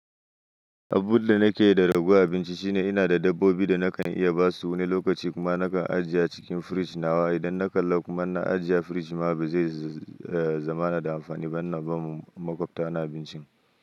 Abun da nake yi da ragowar abinci shine ina da dabbobi da nakan iya ba su wani lokaci kuma nakan ajiye a cikin firij nawa. Idan na kalla kuma in na ajiye a firij ma ba zai zamana da amfani ba ina ba ma maƙwabta na abincin.